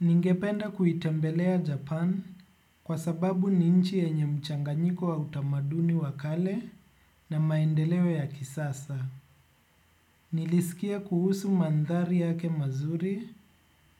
Ningependa kuitembelea Japan kwa sababu ni nchi yenye mchanganyiko wa utamaduni wa kale na maendeleo ya kisasa. Nilisikia kuhusu mandhari yake mazuri,